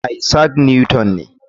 Isaac Newton ne.